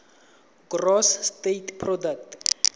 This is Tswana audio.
gross state product